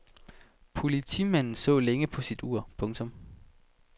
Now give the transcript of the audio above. Politimanden så længe på sit ur. punktum